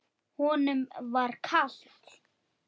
Honum var kalt.